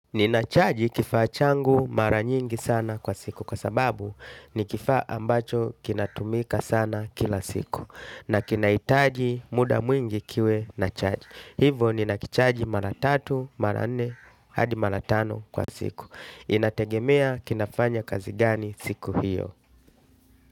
Ninachaji kifaa changu mara nyingi sana kwa siku kwa sababu ni kifaa ambacho kinatumika sana kila siku. Na kinaitaji muda mwingi kiwe nachaji. Hivo ninakichaji mara tatu, mara nne, hadi mara tano kwa siku. Inategemea kinafanya kazi gani siku hiyo.